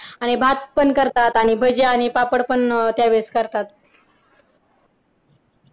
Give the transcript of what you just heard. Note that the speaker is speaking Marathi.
आणि भात पण करतात त्यावेळेस करतातआणि भजी आणि पापड